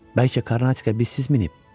Bəlkə Karnatika bizsiz minib?